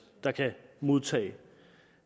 der kan modtage